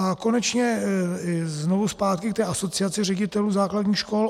A konečně znovu zpátky k té Asociaci ředitelů základních škol.